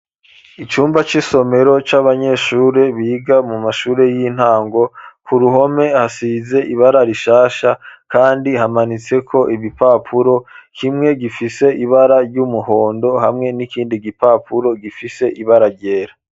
icumba cisomero c'abanyeshuri biga mu mashuri y'intango ku ruhome hasize ibara rishasha kandi hamanitse ko ibipapuro kimwe gifise ibara ry'umuhondo hamwe n'ikindi gipapuro gifise ibara ryera.